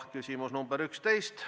Küsimus nr 11.